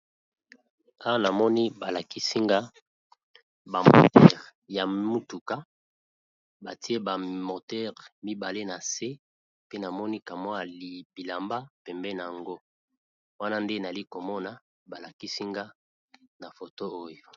Awa namoni, balakisi nga ba moteure ya mutuka. Batie ba motere mibale na se. Pe namoni, kamwa bilamba pembeni na yango. Wana nde nali komona balakisi nga na foto oyo.